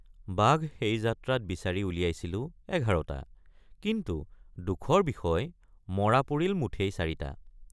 বাঘ সেই যাত্ৰাত বিচাৰি উলিয়াইছিলোঁ ১১টা কিন্তু দুখৰ বিষয় মৰা পৰিল মুঠেই চাৰিটা।